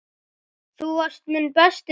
Þú varst minn besti vinur.